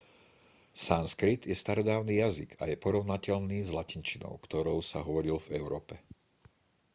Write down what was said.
sanskrit je starodávny jazyk a je porovnateľný s latinčinou ktorou sa hovorilo v európe